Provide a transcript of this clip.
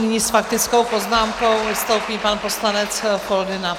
Nyní s faktickou poznámkou vystoupí pan poslanec Foldyna.